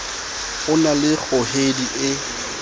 o na le kgohedi e